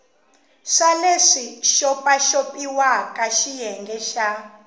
swa leswi xopaxopiwaka xiyenge xa